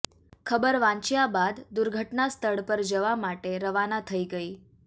ખબર વાંચ્યા બાદ દુર્ઘટનાસ્થળ પર જવા માટે રવાના થઈ ગઈ